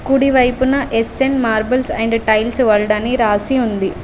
కుడి వైపున S N marbles and tiles world అని రాసి ఉంది.